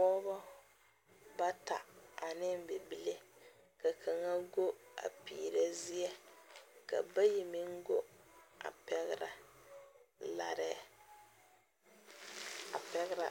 Pɔgba bata ane bibile ka kanga gu a piire zeɛ ka bayi men gu a pɛgra laree a pɛgra